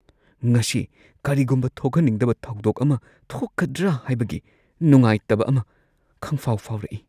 ꯉꯁꯤ ꯀꯔꯤꯒꯨꯝꯕ ꯊꯣꯛꯍꯟꯅꯤꯡꯗꯕ ꯊꯧꯗꯣꯛ ꯑꯃ ꯊꯣꯛꯀꯗ꯭ꯔꯥ ꯍꯥꯏꯕꯒꯤ ꯅꯨꯡꯉꯥꯏꯇꯕ ꯑꯃ ꯈꯪꯐꯥꯎ- ꯐꯥꯎꯔꯛꯏ ꯫